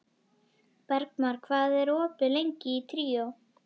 Bergmar, hvað er opið lengi í Tríó?